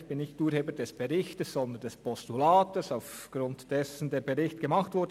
Ich bin nicht Urheber des Berichts, sondern des Postulats, aufgrund dessen der Bericht erstellt wurde.